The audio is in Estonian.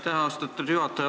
Aitäh, austatud juhataja!